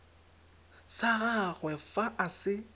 sa gagwe fa a se